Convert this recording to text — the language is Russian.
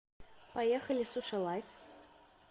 поехали суши лайф